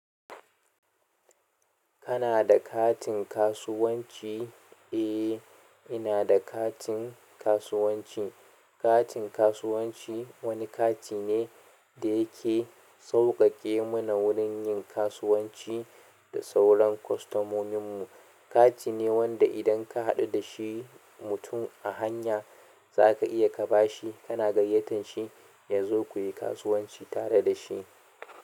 Kana da katin kasuwanci? Eh, ina da katin kasuwanci. Katin kasuwanci wani kati ne da yake sauƙaƙe mana wurin yin kasuwanci da sauran kwastomominmu. Katine wanda idan ka haɗu dashi mutum a hanya za ka iya ka ba shi, kana gayyatan shi ya zo ku yi kasuwanci tare da shi.